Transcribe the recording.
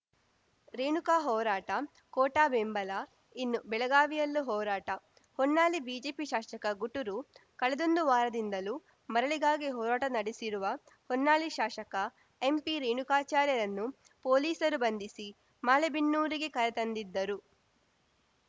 ರೇಣುಕಾ ಹೋರಾಟ ಕೋಟಾ ಬೆಂಬಲ ಇನ್ನು ಬೆಳಗಾವಿಯಲ್ಲೂ ಹೋರಾಟಃಹೊನ್ನಾಳಿ ಬಿಜೆಪಿ ಶಾಸಕ ಗುಟುರು ಕಳೆದೊಂದು ವಾರದಿಂದಲೂ ಮರಳಿಗಾಗಿ ಹೋರಾಟ ನಡೆಸಿರುವ ಹೊನ್ನಾಳಿ ಶಾಸಕ ಎಂಪಿರೇಣುಕಾಚಾರ್ಯರನ್ನು ಪೊಲೀಸರು ಬಂಧಿಸಿ ಮಾಲೆಬೆನ್ನೂರಿಗೆ ಕರೆ ತಂದಿದ್ದರು